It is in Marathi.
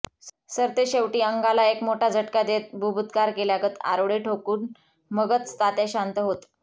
सरतेशेवटी अंगाला एक मोठा झटका देत बुभुत्कार केल्यागत आरोळी ठोकून मगच तात्या शांत होत